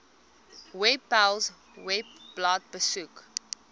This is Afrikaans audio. webpals webblad besoek